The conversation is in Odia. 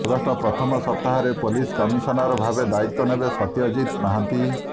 ଅଗଷ୍ଟ ପ୍ରଥମ ସପ୍ତାହରେ ପୋଲିସ କମିଶନର ଭାବେ ଦାୟିତ୍ବ ନେବେ ସତ୍ୟଜିତ ମହାନ୍ତି